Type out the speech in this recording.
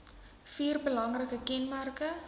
vier belangrike kenmerke